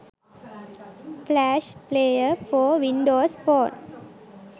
flash player for windows phone